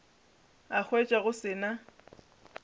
a hwetša go se na